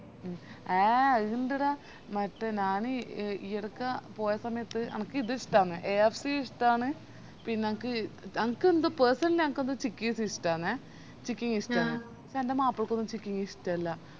ആഹ് അതിണ്ടെടാ മറ്റേ ഞാനീ ഈയിടക്ക് പോയ സമയത്ത് എനക്കിതിഷ്ട്ടന്ന് KFC ഇഷ്ട്ടന്ന് എനക്ക് എനിക്കെന്തോ personally ചിക്കിസ് ഇഷ്ട്ടന്നെ chicking ഇഷ്ട്ടാണ് പഷേ എന്റെ മാപ്പിളക്കൊന്നും chicking ഇഷ്ട്ടല്ല